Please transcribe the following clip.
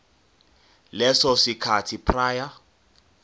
leso sikhathi prior